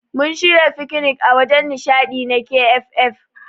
Mun shirya fikinik a wajen nishadi na KFF.